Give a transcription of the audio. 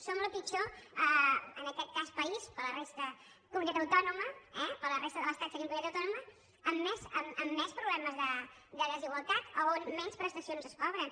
som el pitjor en aquest cas país per a la resta comunitat autònoma eh per a la resta de l’estat seríem comunitat autònoma amb més problemes de desigualtat on menys prestacions es cobren